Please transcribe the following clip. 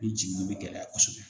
I jiginni bɛ gɛlɛya kosɛbɛ